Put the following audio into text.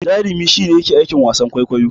Jarumi shi ne yake yin aikin wasan kwaikwayo.